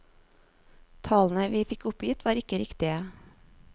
Tallene vi fikk oppgitt var ikke riktige.